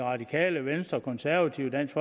radikale venstre konservative dansk